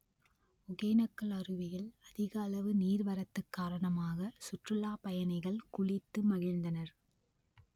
ஒகேனக்கல் அருவியில் அதிக அளவு நீர்வரத்து காரணமாக சுற்றுலாப் பயணிகள் குளித்து மகிழ்ந்தனர்